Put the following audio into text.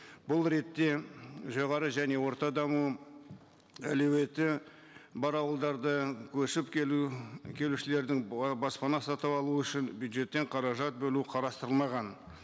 бұл ретте жоғары және орта даму әлеуеті бар ауылдарды көшіп келу келушілердің баспана сатып алу үшін бюджеттен қаражат бөлу қарастырылмаған